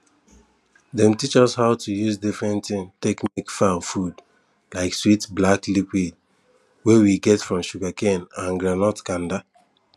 dem teach us how to use different things take make fowl food like sweet black liquid wey we get from sugarcane and groundnut kanda